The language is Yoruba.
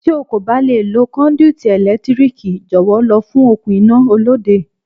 Tí o kò bá lè lo kọ́ndúítí ẹ̀lẹ́tíríkì, jọ̀wọ́ lọ fún okùn iná Olóde.